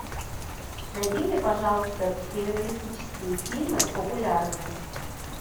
найди мне пожалуйста криминалистические фильмы популярные